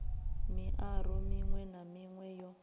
miaro miṅwe na miṅwe yo